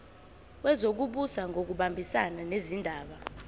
wezokubusa ngokubambisana nezindaba